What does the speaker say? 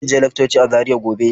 Zan je laccoci a Zaria gobe.